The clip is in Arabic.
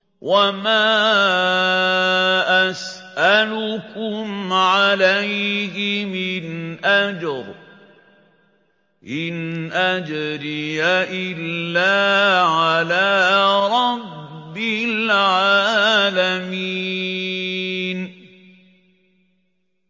وَمَا أَسْأَلُكُمْ عَلَيْهِ مِنْ أَجْرٍ ۖ إِنْ أَجْرِيَ إِلَّا عَلَىٰ رَبِّ الْعَالَمِينَ